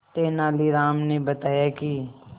तेनालीराम ने बताया कि